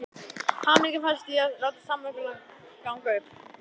Hamingjan felst í því að láta samvinnuna ganga upp.